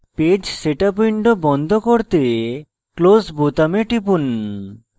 page setup window বন্ধ করতে close বোতামে টিপুন